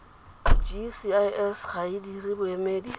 gcis ga e dire boemedi